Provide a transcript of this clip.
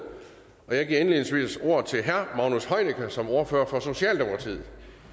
og jeg giver indledningsvis ordet til herre magnus heunicke som ordfører for socialdemokratiet